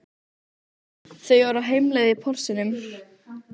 Þau eru á heimleið í Porsinum.